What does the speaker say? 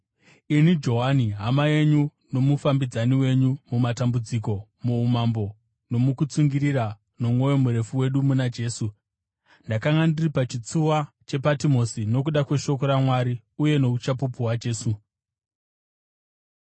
Ini Johani, hama yenyu nomufambidzani wenyu mumatambudziko, muumambo, nomukutsungirira nomwoyo murefu wedu muna Jesu, ndakanga ndiri pachitsuwa chePatimosi nokuda kweshoko raMwari uye nouchapupu hwaJesu.